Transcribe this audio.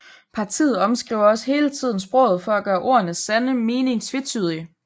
Partiet omskriver også hele tiden sproget for at gøre ordenes sande mening tvetydig